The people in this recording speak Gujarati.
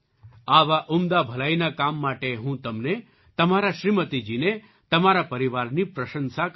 આવા ઉમદા ભલાઈના કામ માટે હું તમને તમારાં શ્રીમતીજીની તમારા પરિવારની પ્રશંસા કરું છું